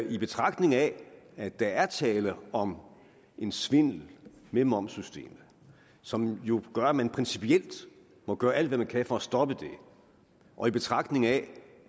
i betragtning af at der er tale om en svindel med momssystemet som jo gør at man principielt må gøre alt hvad man kan for at stoppe det og i betragtning af